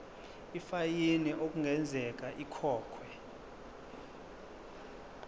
ifayini okungenzeka ikhokhwe